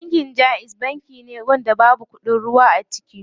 Banki jaiz banki da babu kuɗin ruwa a ciki.